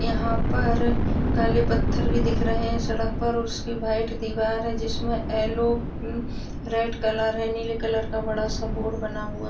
यहाँ पर काले पत्थर भी दिख रहे हैं सड़क पर उसकी वाइट दीवार है जिसमें येल्लो रेड कलर है नीले कलर का बड़ा सा बोर्ड बना हुआ है ।